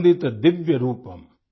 वन्दित दिव्य रूपम्